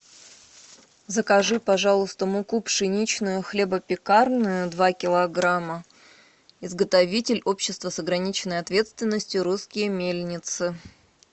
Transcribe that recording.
закажи пожалуйста муку пшеничную хлебопекарную два килограмма изготовитель общество с ограниченной ответственностью русские мельницы